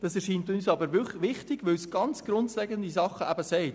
Das scheint uns aber wichtig zu sein, denn es sagt etwas sehr Grundlegendes aus: